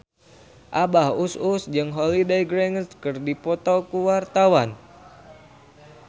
Abah Us Us jeung Holliday Grainger keur dipoto ku wartawan